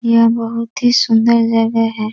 यह बहुत ही सुन्दर जगह है |